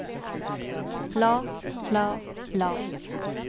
la la la